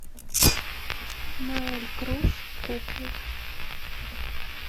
ноэль круз куклы